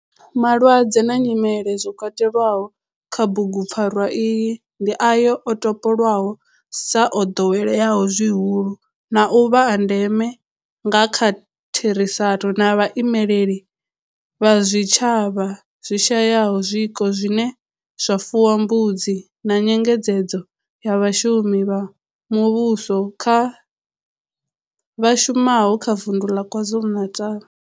Malwadze na nyimele zwo katelwaho kha bugupfarwa iyi ndi ayo o topolwaho sa o doweleaho zwihulu na u vha a ndeme nga kha therisano na vhaimeleli vha zwitshavha zwi shayaho zwiko zwine zwa fuwa mbudzi na nyengedzedzo ya vhashumeli vha muvhusho vha shumaho kha vundu la KwaZulu-Natal.